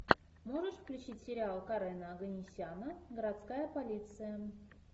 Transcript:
можешь включить сериал карена оганесяна городская полиция